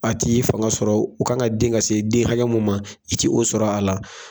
fanga sɔrɔ u kan ka den ka se den hakɛ mun ma i ti o sɔrɔ a la.